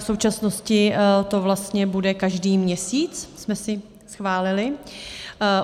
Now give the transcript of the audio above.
V současnosti to vlastně bude každý měsíc, jsme si schválili.